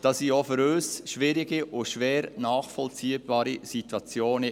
Damit entstanden auch für uns schwierige und schwer nachvollziehbare Situationen.